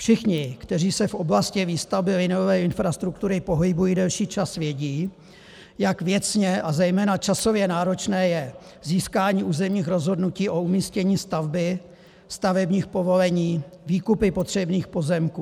Všichni, kteří se v oblasti výstavby liniové infrastruktury pohybují delší čas, vědí, jak věcně a zejména časově náročné je získání územních rozhodnutí o umístění stavby, stavebních povolení, výkupy potřebných pozemků.